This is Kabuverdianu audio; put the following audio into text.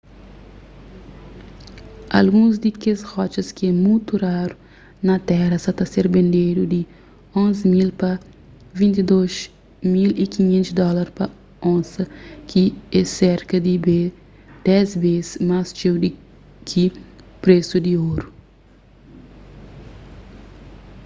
alguns di kes rotxas ki é mutu raru na téra sa ta ser bendedu di 11.000 pa 22.500 dólar pa onsa ki é serka di dés bês más txeu di ki presu di oru